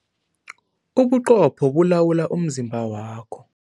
Ubuqopho bulawula umzimba wakho.